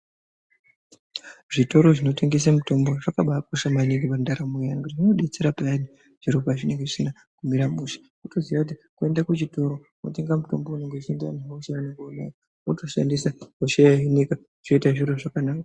Zvitoro zvinotengese mitombo zvakabaakosha maningi pandaramo yeantu nekuti zvinodetsera payani zviro pazvinenge zvisina kumira mushe. Kutoziya kuti woende kuchitoro, wotenga mutombo unenge uchienderana nehosha yako iyani, wotoshandisa, hosha yohinika, zviro zvoite zvakanaka.